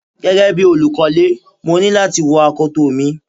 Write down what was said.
Gẹ́gẹ́ bí olùkọ́lè, mo ní láti wọ akoto mi.